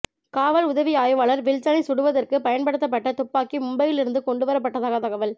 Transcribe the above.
காவல் உதவி ஆய்வாளர் வில்சனை சுடுவதற்கு பயன்படுத்தப்பட்ட துப்பாக்கி மும்பையில் இருந்து கொண்டு வரப்பட்டதாக தகவல்